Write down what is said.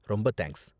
ரொம்ப தேங்க்ஸ்.